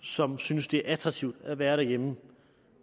som synes det er attraktivt at være derhjemme